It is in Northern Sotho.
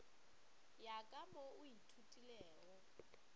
ya ka mo o ithutilego